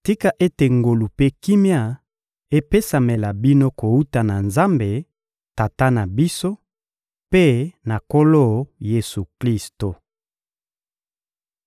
Tika ete ngolu mpe kimia epesamela bino kowuta na Nzambe, Tata na biso, mpe na Nkolo Yesu-Klisto!